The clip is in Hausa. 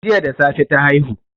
Jiya da safe ta haihu